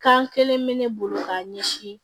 Kan kelen bɛ ne bolo k'a ɲɛsin